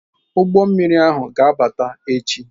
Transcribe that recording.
Ụgbọ mmiri ahụ ga-abata echi